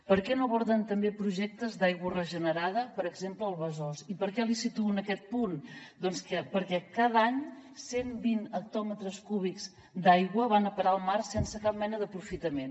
per què no aborden també projectes d’aigua regenerada per exemple al besòs i per què li situo en aquest punt doncs perquè cada any cent vint hectòmetres cúbics d’aigua van a parar al mar sense cap mena d’aprofitament